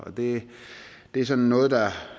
og det er sådan noget der